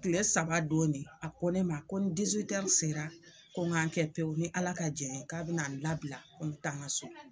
Tile saba don de a ko ne ma ko ni sera ko ŋa n kɛ pewu ni Ala ka jɛn ye k'a bɛ na n labila ko n be taa ŋa so.